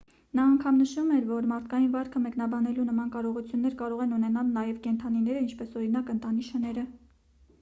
նա անգամ նշում էր որ մարդկային վարքը մեկնաբանելու նման կարողություններ կարող են ունենալ նաև կենդանիները ինչպես օրինակ ընտանի շները